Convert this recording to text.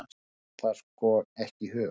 Mér datt það sko ekki í hug!